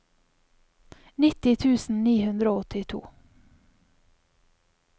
nitti tusen ni hundre og åttito